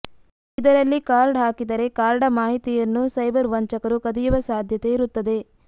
ಇದರಲ್ಲಿ ಕಾರ್ಡ್ ಹಾಕಿದರೆ ಕಾರ್ಡ ಮಾಹಿತಿಯನ್ನೂ ಸೈಬರ್ ವಂಚಕರು ಕದಿಯುವ ಸಾಧ್ಯತೆ ಇರುತ್ತದೆ